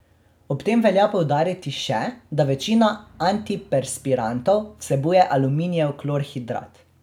Ob tem velja poudariti še, da večina antiperspirantov vsebuje aluminijev klorhidrat.